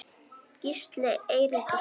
Gísli Eiríkur Helgi.